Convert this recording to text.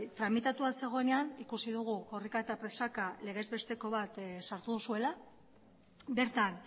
tramitatua zegoenean ikusi dugu korrika eta presaka legezbesteko bat sartu duzuela bertan